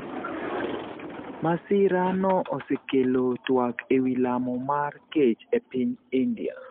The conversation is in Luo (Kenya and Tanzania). Masira no osekelo twak ewi lamo mar kech e piny India.